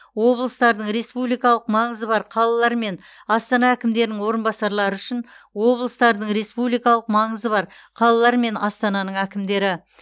облыстардың республикалық маңызы бар қалалар мен астана әкімдерінің орынбасарлары үшін облыстардың республикалық маңызы бар қалалар мен астананың әкімдері